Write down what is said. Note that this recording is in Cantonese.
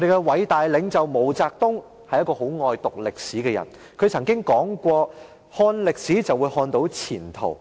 偉大領袖毛澤東很喜歡讀歷史，他說過："看歷史，就會看到前途。